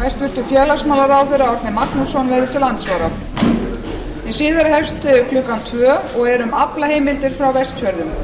hæstvirts félagsmálaráðherra árni magnússon verður til andsvara hin síðari hefst klukkan tvö og er um aflaheimildir frá vestfjörðum